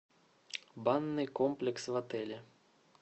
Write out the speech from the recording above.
банный комплекс в отеле